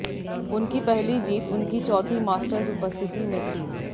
उनकी पहली जीत उनकी चौथी मास्टर्स उपस्थिति में थी